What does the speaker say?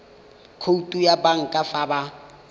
khoutu ya banka fa ba